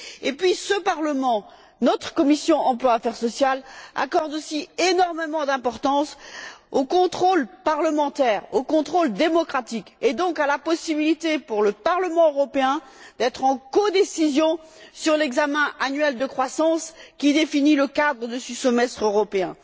Par ailleurs, ce Parlement, notre commission de l'emploi et des affaires sociales, accorde aussi énormément d'importance au contrôle parlementaire, au contrôle démocratique et, donc, à la possibilité, pour le Parlement européen, de participer en codécision à l'examen annuel de la croissance qui définit le cadre de ce semestre européen.